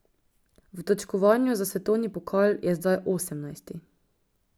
V točkovanju za svetovni pokal je zdaj osemnajsti.